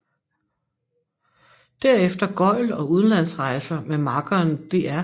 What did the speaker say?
Derefter gøgl og udenlandsrejser med makkeren Dr